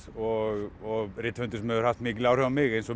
og rithöfundur sem hefur haft mikil áhrif á mig eins og